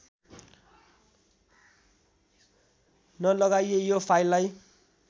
नलगाइए यो फाइललाई